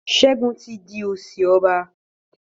Segun tí dì osi ọba.